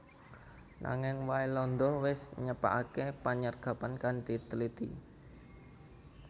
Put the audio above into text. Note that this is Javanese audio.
Nanging Waelanda wis nyepakaké panyergapan kanthi tliti